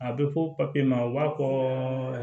A bɛ fɔ papiye ma u b'a fɔ